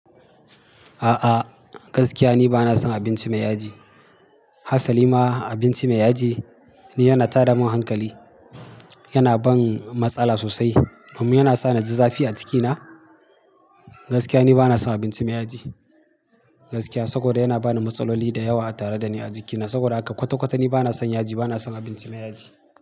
A'a gaskiya ni bana son abinci mai yaji. Hasalima abinci mai yaji ni yana tada min hankali, yana ban matsala sosai. Kuma yana sa na ji zafi cikina. Gaskiya ni bana son abinci mai yaji. Gaskiya saboda yana bani matsaloli da yawa tare da ni a jikina. Saboda haka kwata-kwata ni bana son yaji, bana son abinci mai yaji.